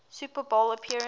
super bowl appearance